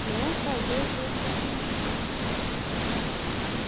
Que um fazia e todos apanhavam.